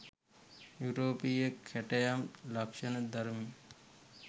යුරෝපීය කැටයම් ලක්‍ෂණ දරමින්